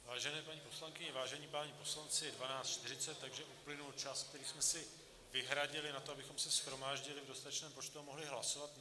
Vážené paní poslankyně, vážení páni poslanci, je 12.40, takže uplynul čas, který jsme si vyhradili na to, abychom se shromáždili v dostatečném počtu a mohli hlasovat.